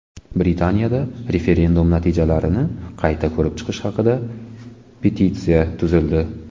Britaniyada referendum natijalarini qayta ko‘rib chiqish haqida petitsiya tuzildi.